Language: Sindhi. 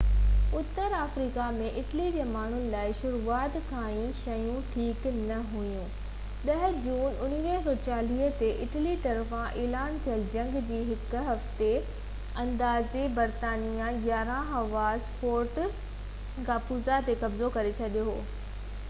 اتر آفريڪا ۾ اٽلي جي ماڻهن لاءِ شروعات کان ئي شيون ٺيڪ نہ هويون 10 جون 1940 تي اٽلي طرفان اعلان ٿيل جنگ جي هڪ هفتي اندر ئي برطانيائي 11 هوزا ليبيا ۾ فورٽ ڪاپوزا تي قبضو ڪري ڇڏيو هو